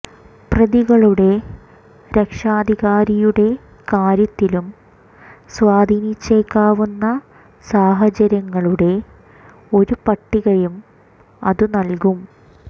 പ്രതികളുടെ രക്ഷാധികാരിയുടെ കാര്യത്തിലും സ്വാധീനിച്ചേക്കാവുന്ന സാഹചര്യങ്ങളുടെ ഒരു പട്ടികയും അതു നൽകും